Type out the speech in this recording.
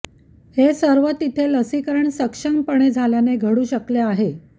हे सर्व तिथे लसीकरण सक्षमपणे झाल्याने घडू शकले आहे